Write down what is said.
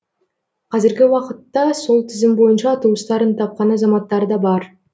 қазіргі уақытта сол тізім бойынша туыстарын тапқан азаматтар да бар